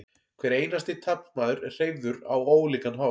hver einasti taflmaður er hreyfður á ólíkan hátt